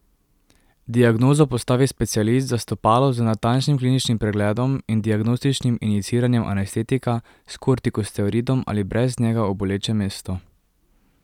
Diagnozo postavi specialist za stopalo z natančnim kliničnim pregledom in diagnostičnim injiciranjem anestetika s kortikosteroidom ali brez njega v boleče mesto.